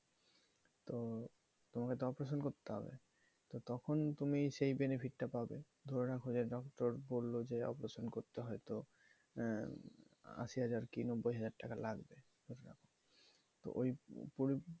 তোমার হয়তো operation করতে হবে। তখন তুমি সেই benefit টা পাবে। ধরে রাখো যে doctor বললো যে operation করতে হয়তো আশি হাজার কি নব্বই হাজার টাকা লাগবে,